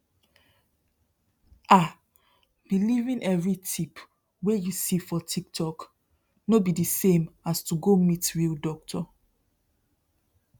um believing every tip wey you see for tiktok no be the same as to go meet real doctor